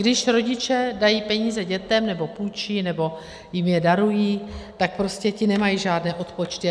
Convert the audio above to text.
Když rodiče dají peníze dětem nebo půjčí nebo jim je darují, tak prostě ti nemají žádné odpočty.